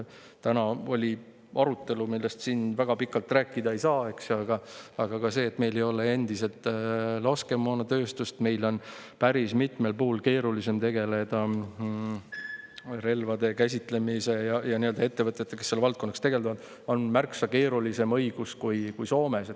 Täna oli arutelu, millest siin väga pikalt rääkida ei saa, eks ju, aga ka see, et meil ei ole endiselt laskemoonatööstust, meil on päris mitmel puhul keerulisem tegeleda relvade käsitsemise ja ettevõtetega, kes seal valdkonnas tegutsevad, meil on märksa keerulisem õigus kui Soomes.